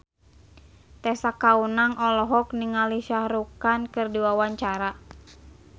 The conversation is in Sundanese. Tessa Kaunang olohok ningali Shah Rukh Khan keur diwawancara